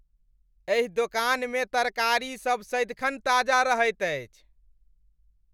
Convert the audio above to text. एहि दोकानमे तरकारीसभ सदिखन ताजा रहैत अछि।